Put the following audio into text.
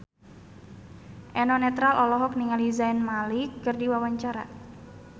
Eno Netral olohok ningali Zayn Malik keur diwawancara